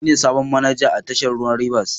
Ni ne sabon manaja a tashar ruwan Rivers.